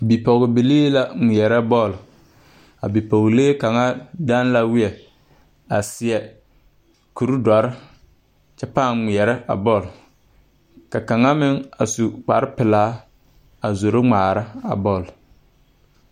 Bipɔgbilii la ngmeɛrɛ ba bɔl a bipɔglee kaŋa deŋ la wiɛ a seɛ kure dɔre kyɛ pãã ngmɛɛrɛ a bɔl ka kaŋa meŋ a su kparepilaa a zoro. ngmaara a bɔl.